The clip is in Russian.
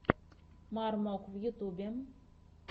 мармок в ютьюбе